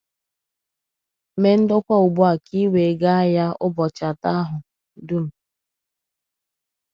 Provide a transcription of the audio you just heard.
Mee ndokwa ugbu à ka ì wee gaa ya ụbọchị atọ àhụ dum.